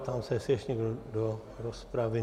Ptám se, jestli ještě někdo do rozpravy.